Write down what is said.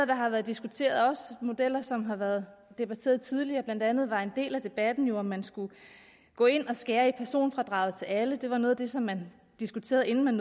der har været diskuteret også modeller som har været debatteret tidligere blandt andet var en del af debatten jo om man skulle gå ind og skære i personfradraget til alle det var noget af det som man diskuterede inden man